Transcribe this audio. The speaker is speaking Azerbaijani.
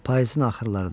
Payızın axırlarıdır.